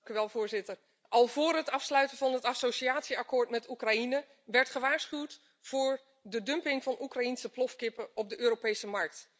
Voorzitter, al voor het afsluiten van het associatieakkoord met Oekraïne werd gewaarschuwd voor de dumping van Oekraïense plofkippen op de Europese markt.